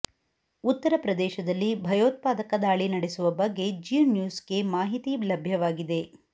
ಉತ್ತರ ಪ್ರದೇಶದಲ್ಲಿ ಭಯೋತ್ಪಾದಕ ದಾಳಿ ನಡೆಸುವ ಬಗ್ಗೆ ಜೀ ನ್ಯೂಸ್ ಗೆ ಮಾಹಿತಿ ಲಭ್ಯವಾಗಿದೆ